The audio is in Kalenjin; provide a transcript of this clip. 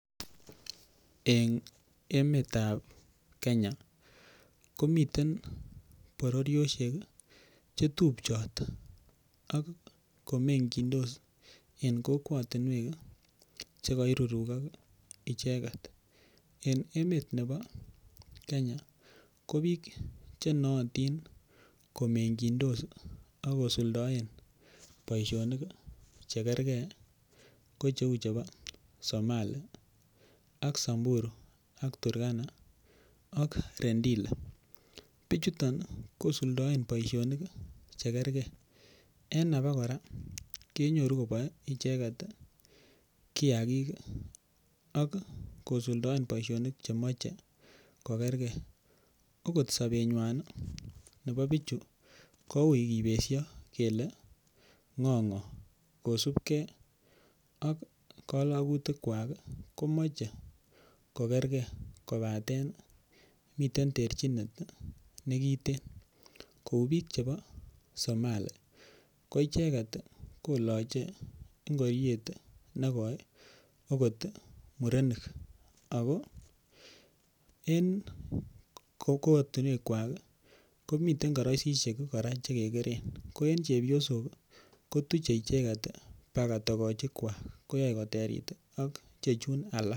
Eng emetab kenya komiten bororiosiek chetupchot akomengyindos en kokwotinwek chekoirurukok icheket, en emet nebo kenya ko biik chenootin komengyindos akosuldoen boisionik chekerkee ko cheu chebo Somalia, ak Samburu, ak Turkana ak Rendile bichuton ii kosuldoen boisionik chekergee en abokora kenyuru icheket koboe kiagik ak kosuldoen boisionik chemoche kokergee okot sobenywan nebo bichu ko ui kibeshoo kele ng'o ng'o kosipgee ak kolokutikwak ii komoche kokergee kobaten miten terchinet nekiten kou biik chebo somali ko icheket ii koloche ngoriet nekoi okot murenik ak kora en kokootinwekwak komiten koroisisiek kora chekekeren ko en chebiosok kotuche icheket bakaa tokochikwak koyoe koterit ak ichechun alak.